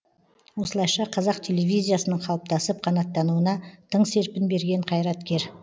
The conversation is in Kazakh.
осылайша қазақ телевизиясының қалыптасып қанаттануына тың серпін берген қайраткер